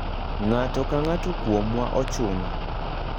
Ng'ato ka ng'ato kuomwa ochuno.